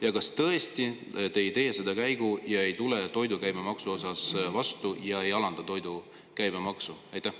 Ja kas tõesti te ei tee seda käiku ja ei tule toidu käibemaksu puhul vastu, alandades seda?